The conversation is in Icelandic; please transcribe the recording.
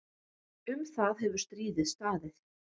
Um það hefur stríðið staðið.